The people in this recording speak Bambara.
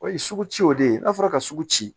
O ye sugu ci o de ye n'a fɔra ka sugu ci